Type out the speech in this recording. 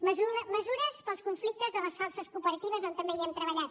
mesures per als conflictes de les falses cooperatives on també hi hem treballat